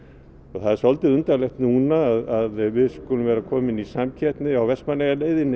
það er undarlegt núna að við skulum vera komin í samkeppni á